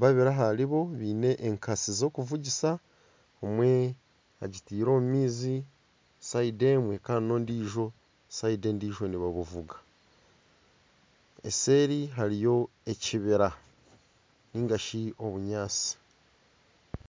babiri aharibo baine enkasi z'okuvugisa omwe agitaire omu maizi orubaju rumwe Kandi n'ondiijo orubaju orundi nibabuvuga eseeri hariyo ekibira ningashi obunyatsi